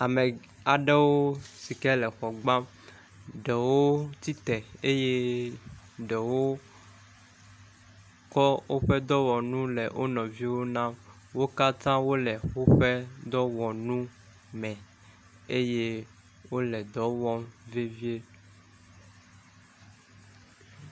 Ame aɖewo si ke le xɔ gbam. Ɖewo tsitre eye ɖewo tsɔ woƒe dɔwɔnu le wo nɔviwo nam. Wo katã wole woƒe dɔwɔnu me eye wole dɔ wɔm vevie.